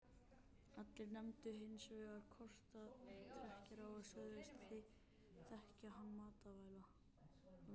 Allir nefndu hins vegar korktrekkjara og sögðust þekkja hann mætavel.